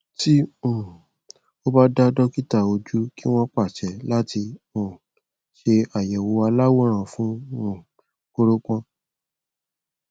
tí um ò bá dá dọkítà ójú kí wọn pàṣẹ láti um ṣe àyèwò aláwòrán fún um kóropọn